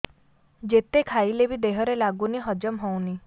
ଯେତେ ଖାଇଲେ ବି ଦେହରେ ଲାଗୁନି ହଜମ ହଉନି